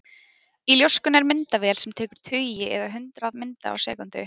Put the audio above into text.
Í ljóskunni er myndavél sem tekur tugi eða hundruð mynda á sekúndu.